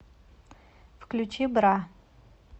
включи бра